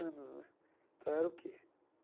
anos né então, era o quê?